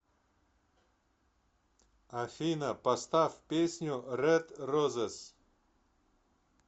афина поставь песню ред розес